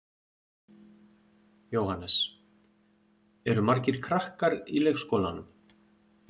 Jóhannes: Eru margir krakkar í leikskólanum?